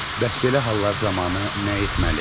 Bəs belə hallar zamanı nə etməli?